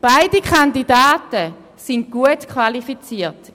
Beide Kandidaten sind gut qualifiziert.